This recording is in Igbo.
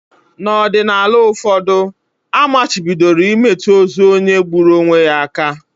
N’ọdịnala ụfọdụ, a machibidoro imetụ ozu onye gburu onwe ya aka